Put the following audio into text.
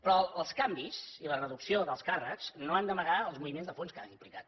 però els canvis i la reducció d’alts càrrecs no han d’amagar els moviments de punts que han implicat